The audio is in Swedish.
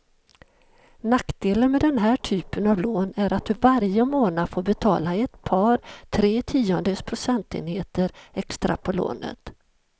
Nackdelen med den här typen av lån är att du varje månad får betala ett par, tre tiondels procentenheter extra på lånet.